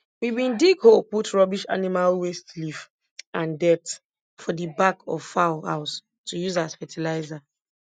we bin dig hole put rubbish animal waste leaf and dirt for di back of fowl house to use as fertilizer